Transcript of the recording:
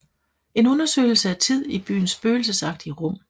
En undersøgelse af tid i byens spøgelsesagtige rum